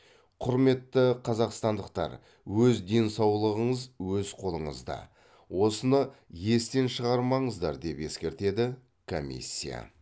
құрметті қазақстандықтар өз денсаулығыңыз өз қолыңызда осыны естен шығармаңыздар деп ескертеді комиссия